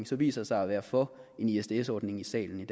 som viser sig at være for en isds ordning i salen i